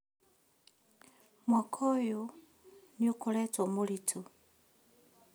Mwaka ũyũnĩ ũkoretwo mũritũ